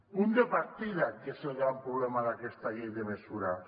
punt de partida que és el gran problema d’aquesta llei de mesures